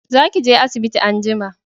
Za ki je asibiti anjima!